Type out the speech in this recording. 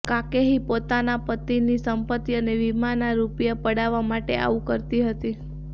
કાકેહી પોતાના પતિની સંપત્તિ અને વિમાના રુપિયા પડાવવા માટે આવું કરતી હતી